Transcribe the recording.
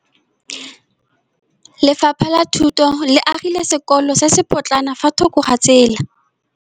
Lefapha la Thuto le agile sekôlô se se pôtlana fa thoko ga tsela.